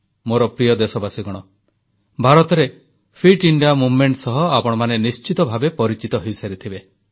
ମୋର ପ୍ରିୟ ଦେଶବାସୀଗଣ ଭାରତରେ ଫିଟ ଇଣ୍ଡିଆ ଅଭିଯାନ ସହ ଆପଣମାନେ ନିଶ୍ଚିତ ଭାବେ ପରିଚିତ ହୋଇସାରିଥିବେ